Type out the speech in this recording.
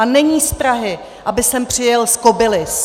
A není z Prahy, aby sem přijel z Kobylis.